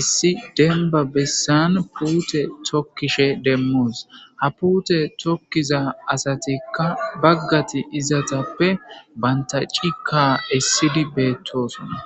issi denba bessan puute tokkishe demmos ha pute tokkiza asatikka baggati izatappe banta cika essidi beettosonna.